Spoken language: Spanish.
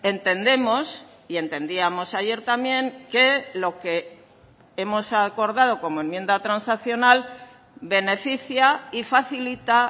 entendemos y entendíamos ayer también que lo que hemos acordado como enmienda transaccional beneficia y facilita